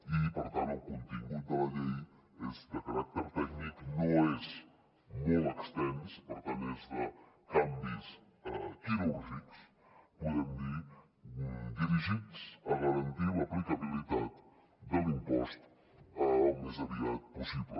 i per tant el contingut de la llei és de caràcter tècnic no és molt extens per tant és de canvi quirúrgics podem dir dirigits a garantir l’aplicabilitat de l’impost al més aviat possible